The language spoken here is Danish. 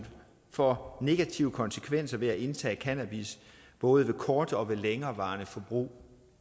for negative konsekvenser ved at indtage cannabis både ved kortvarigt længerevarende forbrug